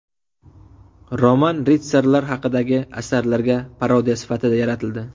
Roman ritsarlar haqidagi asarlarga parodiya sifatida yaratildi.